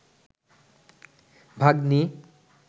ভাগ্নি